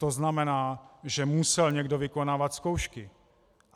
To znamená, že musel někdo vykonávat zkoušky.